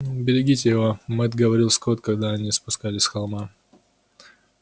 берегите его мэтт говорил скотт когда они спускались с холма